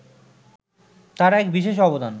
তাঁর এক বিশেষ অবদান